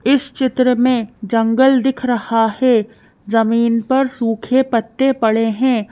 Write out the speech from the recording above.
इस चित्र में जंगल दिख रहा है जमीन पर सूखे पत्ते पड़े है।